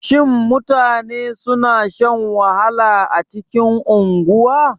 Shin mutane suna shan wahala a cikin unguwa?